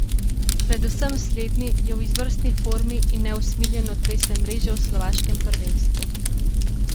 Predvsem slednji je v izvrstni formi in neusmiljeno trese mreže v slovaškem prvenstvu.